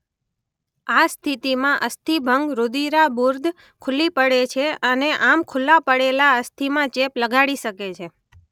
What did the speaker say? આ સ્થિતિમાં અસ્થિભંગ રુધિરાબુર્દ ખુલ્લી પડે છે અને આમ ખુલ્લા પડેલા અસ્થિમાં ચેપ લગાડી શકે છે.